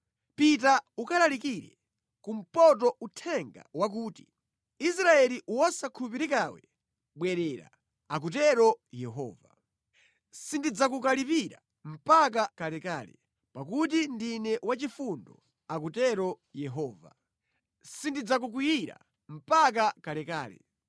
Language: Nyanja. Pita ukalalikire kumpoto uthenga wakuti, “ ‘Israeli wosakhulupirikawe, bwerera,’ akutero Yehova. ‘Sindidzakukalipira mpaka kalekale, pakuti ndine wachifundo,’ akutero Yehova. ‘Sindidzakukwiyira mpaka kalekale.